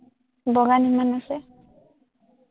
বগান ইমান আছে,